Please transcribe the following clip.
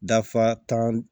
Dafa tan